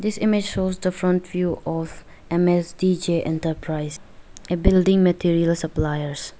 this image shows the front view of M_S_D_J enterprise a building material suppliers.